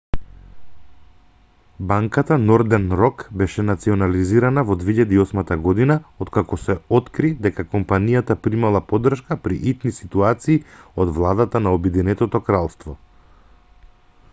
банката нордерн рок беше национализирана во 2008 г откако се откри дека компанијата примала поддршка при итни ситуации од владата на обединетото кралство